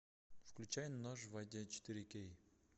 включай нож в воде четыре кей